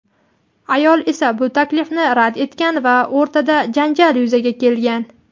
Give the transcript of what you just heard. Ayol esa bu taklifni rad etgan va o‘rtada janjal yuzaga kelgan.